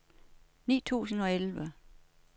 ni tusind og elleve